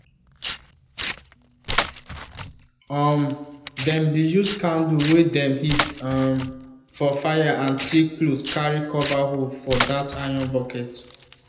um them bin use candle wey dem heat um for fire and thick cloth carry cover hole for that iron bucket